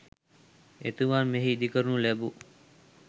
එතුමන් මෙහි ඉදිකරනු ලැබූ